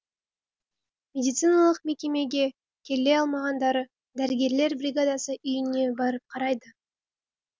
медициналық мекемеге келе алмағандары дәрігерлер бригадасы үйіне барып қарайды